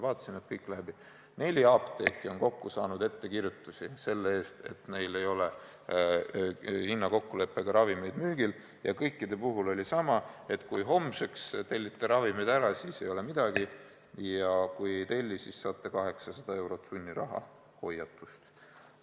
Vaatasin, et neli apteeki on kokku saanud ettekirjutusi selle eest, et neil ei ole hinnakokkuleppega ravimeid müügil, ja kõikide puhul oli sama: kui homseks tellite ravimid ära, siis ei ole midagi, aga kui ei telli, siis saate 800 eurot sunnirahahoiatust.